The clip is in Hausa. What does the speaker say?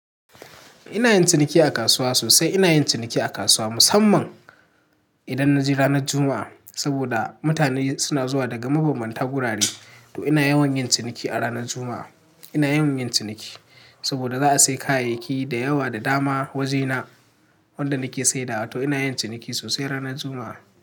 Ina yin ciniki a kasuwa sosai. Ina yin ciniki a kasuwa musamman idan na je ranar Juma'a. Saboda mutane suna zuwa daga mabanbanta wurare, to ina yawan yin ciniki a ranar Juma'a. Ina yawan yin ciniki saboda za a sayi kayayyaki da yawa da dama wajena wanda na ke saidawa. To ina yin ciniki sosai ranar Juma'a.